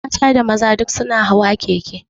Mata da maza duk su na hawa keke